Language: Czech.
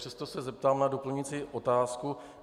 Přesto se zeptám na doplňující otázku.